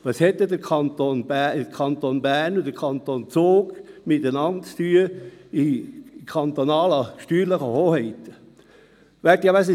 Was haben denn der Kanton Bern und der Kanton Zug als kantonale steuerliche Hoheiten miteinander zu tun?